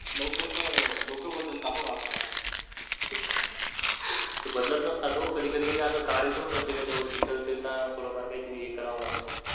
लवकर तर लोक बदलतात हो आज काल ते बदलत नसतात ओ कधी कधी असं काडे प्रत्येकाच्या वरती तर त्येन्ला थोडं फार काहीतरी हे करावं लागत.